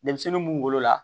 Denmisɛnnin mun golo la